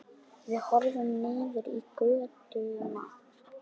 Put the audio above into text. Við horfum niður í götuna.